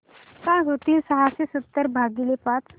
काय होईल सहाशे सतरा भागीले पाच